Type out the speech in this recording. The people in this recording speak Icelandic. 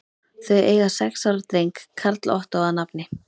Þau eiga sex ára dreng, Karl Ottó að nafni.